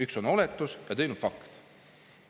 Üks on oletus ja teine on fakt.